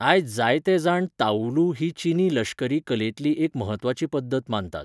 आयज जायते जाण ताऊलू ही चीनी लश्करी कलेंतली एक म्हत्वाची पद्दत मानतात.